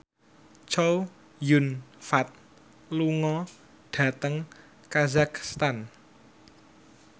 Chow Yun Fat lunga dhateng kazakhstan